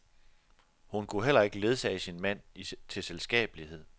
Hun kunne heller ikke ledsage sin mand til selskabelighed.